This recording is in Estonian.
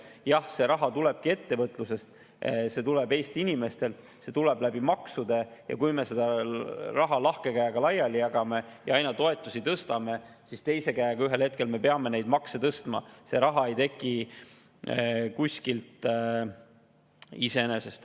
Jah, see raha tulebki ettevõtlusest, see tuleb Eesti inimestelt, see tuleb maksudest ja kui me seda raha lahkelt laiali jagame ja toetusi aina tõstame, siis me peame ühel hetkel teise käega makse tõstma, sest raha ei teki kuskilt iseenesest.